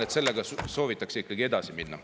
Aga sellega soovitakse ikkagi edasi minna.